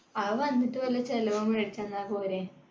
അത് വന്നിട്ട് വല്ല ചെലവും മേടിച്ചു തന്നാ പോരെ